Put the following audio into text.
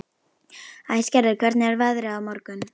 Æsgerður, hvernig er veðrið á morgun?